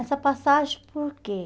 Essa passagem, por quê?